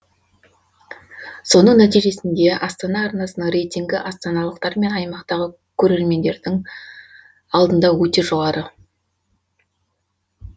соның нәтижесінде астана арнасының рейтингі астаналықтар мен аймақтағы көреремендердің алдында өте жоғары